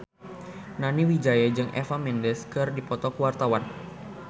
Nani Wijaya jeung Eva Mendes keur dipoto ku wartawan